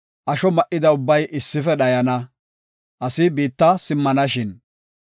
asho ma7ida ubbay issife dhayana; asi biitta simmanashin.